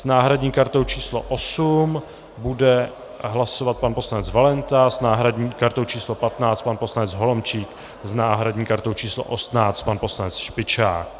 S náhradní kartou číslo 8 bude hlasovat pan poslanec Valenta, s náhradní kartou číslo 15 pan poslanec Holomčík, s náhradní kartou číslo 18 pan poslanec Špičák.